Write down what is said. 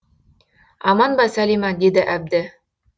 аман ба сәлима деді әбді